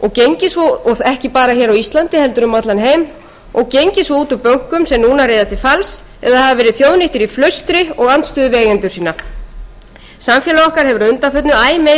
og ekki bara hér á íslandi heldur um allan heim og gengið svo út úr bönkum sem núna riða til falls eða hafa verið þjóðnýttir í flaustri og í andstöðu við eigendur sína samfélag okkar hefur að undanförnu æ meira